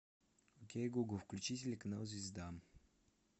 окей гугл включи телеканал звезда